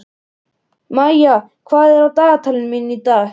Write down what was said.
Maía, hvað er á dagatalinu mínu í dag?